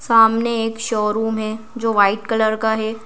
सामने एक शोरूम है जो वाइट कलर का है।